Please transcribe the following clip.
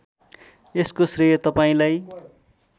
यसको श्रेय तपाईँलाई